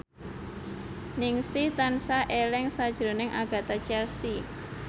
Ningsih tansah eling sakjroning Agatha Chelsea